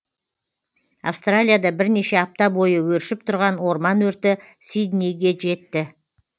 австралияда бірнеше апта бойы өршіп тұрған орман өрті сиднейге жетті